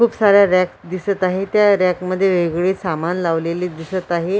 खूप साऱ्या रॅक दिसत आहे त्या रॅक मध्ये वेगवेगळी सामान लावलेले दिसत आहे.